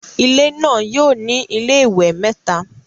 Ilé náà yóò ní iléwẹ̀ mẹ́ta